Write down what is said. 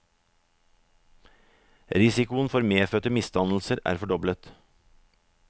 Risikoen for medfødte misdannelser er fordoblet.